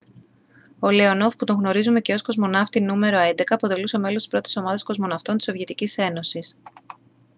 ο λέονοφ που τον γνωρίζουμε και ως «κοσμοναύτη νο.11» αποτελούσε μέλος της πρώτης ομάδας κοσμοναυτών της σοβιετικής ένωσης